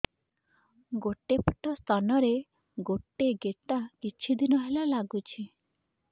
ଗୋଟେ ପଟ ସ୍ତନ ରେ ଗୋଟେ ଗେଟା କିଛି ଦିନ ହେଲା ଲାଗୁଛି